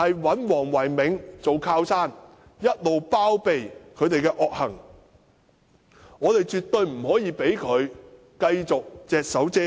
黃唯銘是禮頓的靠山，一直包庇禮頓的惡行，我們絕對不可以讓他繼續隻手遮天。